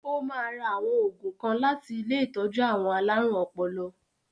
Ó ma ra àwọn ògùn kan láti ilé ìtọ́jú àwọn alárùn ọpọlọ.